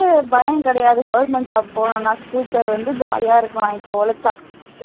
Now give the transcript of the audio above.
பயம் கிடையாது government job போனோம்னா future வந்து jolly ஆ இருக்கலாம் இப்போ உழைச்சா